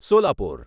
Solapur